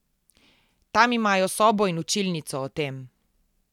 Tam imajo sobo in učilnico o tem.